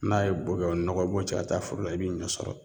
N'a ye bo kɛ o nɔgɔ i b'o cɛ ka taa foro la i b'i ɲɔ sɔrɔ